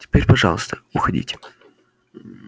теперь пожалуйста уходите